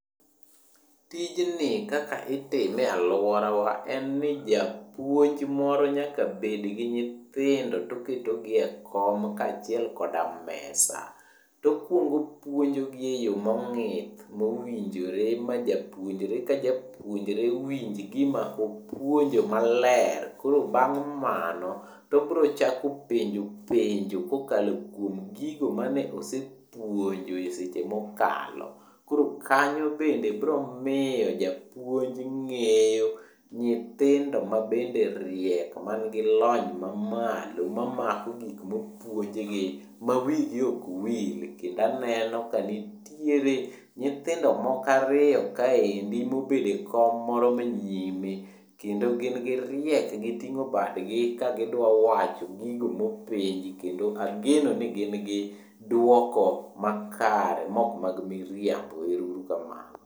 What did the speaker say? Tijni kaka itime e alworawa en ni japuonj moro nyaka bed gi nyithindo to oketo gi e kom kaachiel koda mesa. To okwongo opuojogi e yo mong'ith mowinjore ma japuonjre ka japuonjre winj gima opuonjo maler. Koro bang' mano, to obro chako penjo penjo kokalo kuom gigo mane osepuonjo e seche mokalo. Koro kanyo bende bro miyo japuonj ng'eyo nyithindo mabende riek mangi lony mamalo mamako gikmopuonjgi ma wigi ok wil. Kendo aneno ka nitiere nyithindo moko ariyo kaendi mobedo e kom moro manyime, kendo gin giriek giting'o badgi ka gidwawacho gigo mopenji kendo ageno ni gin gi dwoko makare mok mag miriambo, ero uru kamano.